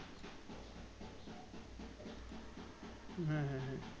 হ্যাঁ হ্যাঁ হ্যাঁ